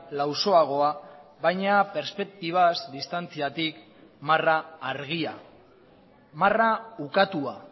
lausoagoa baina perspektibaz distantziatik marra argia marra ukatua